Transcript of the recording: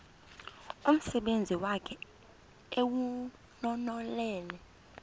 umsebenzi wakhe ewunonelele